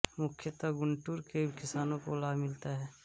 मुख्यत गुंटूर के किसानो को लाभ मिलता है